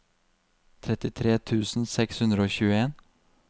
trettitre tusen seks hundre og tjueen